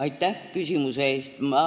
Aitäh küsimuse eest!